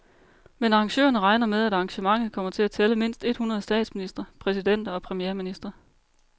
Men arrangørerne regner med, at arrangementet kommer til at tælle mindst et hundrede statsministre, præsidenter og premierministre.